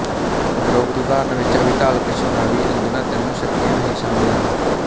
ਉਪਰੋਕਤ ਉਦਾਹਰਣ ਵਿੱਚ ਅਭਿਧਾਲਕਸ਼ਣਾਵਿਅੰਜਨਾ ਤਿੰਨੋਂ ਸ਼ਕਤੀਆਂ ਹੀ ਸ਼ਾਮਿਲ ਹਨ